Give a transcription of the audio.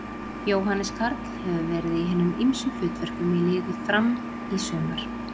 Jóhannes Karl hefur verið í hinum ýmsum hlutverkum í liði Fram í sumar.